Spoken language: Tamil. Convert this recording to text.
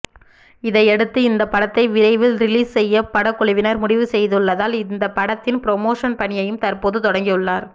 இதனையடுத்து இந்த படத்தை விரைவில் ரிலீஸ் செய்ய படக்குழுவினர் முடிவு செய்துள்ளதால் இந்த படத்தின் புரமோஷன் பணியையும் தற்போது தொடங்கியுள்ளனர்